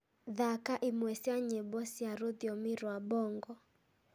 thaaka imwe cia nyĩmbo cia rũthiomi rwa mbongo